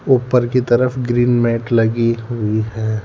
ऊपर की तरफ ग्रीन मैट लगी हुई है।